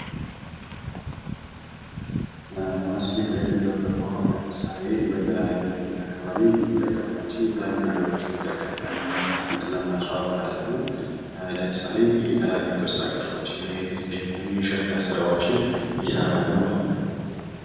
ዘላቂነት ያለው ማስጌጥ እንደገና ጥቅም ላይ ሊውሉ የሚችሉ የተፈጥሮ ቁሳቁሶችን በመጠቀም የሚከናወን ነው